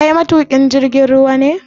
Kai matuƙin jirgin ruwa ne?